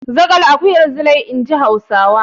Zaƙal akuyar Zilai, in ji Hausawa.